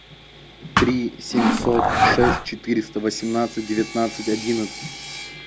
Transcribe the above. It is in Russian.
три семьсот шесть четыреста восемнадцать девятнадцать одиннадцать